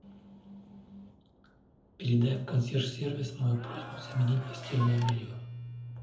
передай в консьерж сервис мою просьбу заменить постельное белье